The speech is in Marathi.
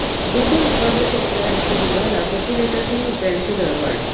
दूध उत्पादक शेतकऱ्यांच्या दुधाला प्रती लिटर तीन रुपयांची दरवाढ